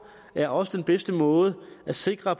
er også den bedste måde at sikre